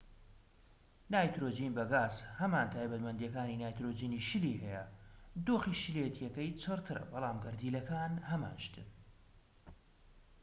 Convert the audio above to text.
نایترۆجین بە گاز هەمان تایبەتمەندیەکانی نایترۆجینی شلی هەیە دۆخی شلێتیەکەی چڕ ترە بەڵام گەردیلەکان هەمان شتن